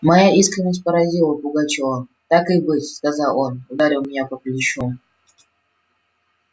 моя искренность поразила пугачёва так и быть сказал он ударил меня по плечу